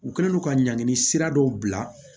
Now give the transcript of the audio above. U kɛlen don ka ɲangini sira dɔw bila